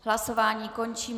Hlasování končím.